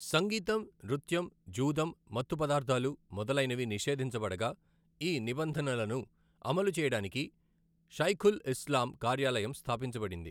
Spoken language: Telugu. సంగీతం, నృత్యం, జూదం, మత్తు పదార్థాలు మొదలైనవి నిషేధించబడగా, ఈ నిబంధనలను అమలు చేయడానికి షైఖుల్ ఇస్లాం కార్యాలయం స్థాపించబడింది.